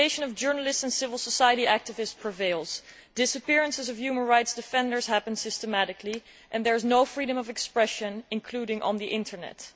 Intimidation of journalists and civil society activists prevails, disappearances of human rights defenders happen systematically and there is no freedom of expression, including on the Internet.